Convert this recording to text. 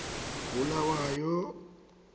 bulawayo